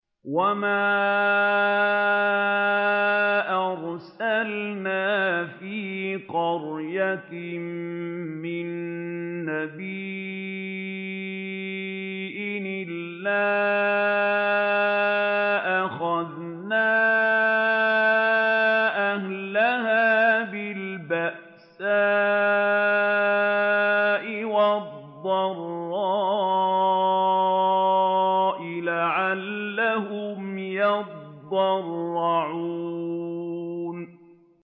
وَمَا أَرْسَلْنَا فِي قَرْيَةٍ مِّن نَّبِيٍّ إِلَّا أَخَذْنَا أَهْلَهَا بِالْبَأْسَاءِ وَالضَّرَّاءِ لَعَلَّهُمْ يَضَّرَّعُونَ